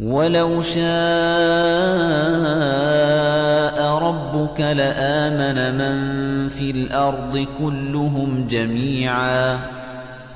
وَلَوْ شَاءَ رَبُّكَ لَآمَنَ مَن فِي الْأَرْضِ كُلُّهُمْ جَمِيعًا ۚ